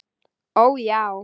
Ó, já.